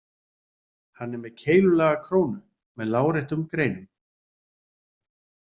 Hann er með keilulaga krónu með láréttum greinum.